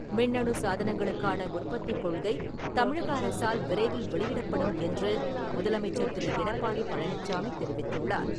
மின்னணு சாதனங்களுக்கான உற்பத்திக் கொள்கை தமிழக அரசால் விரைவில் வெளியிடப்படும் என்று முதலமைச்சர் திரு. எடப்பாடி பழனிச்சாமி தெரிவித்துள்ளார்.